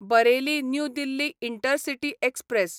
Bareilly new Delhi intercity express